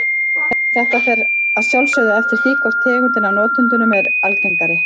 Þetta fer að sjálfsögðu eftir því hvor tegundin af notendunum er algengari.